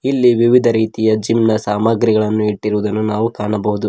ಇಲ್ಲಿ ವಿವಿಧ ರೀತಿಯ ಜಿಮ್ ನ ಸಾಮಗ್ರಿಗಳನ್ನು ಇಟ್ಟಿರುವುದನ್ನು ನಾವು ಕಾಣಬಹುದು.